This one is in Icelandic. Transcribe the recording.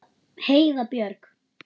Heiða Björg.